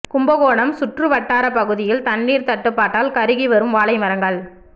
கும்பகோணம் சுற்றுவட்டார பகுதியில் தண்ணீர் தட்டுப்பாட்டால் கருகி வரும் வாழை மரங்கள்